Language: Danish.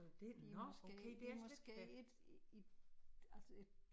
Det er måske det er måske et i altså et